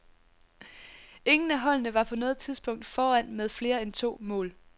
Ingen af holdene var på noget tidspunkt foran med flere end to mål.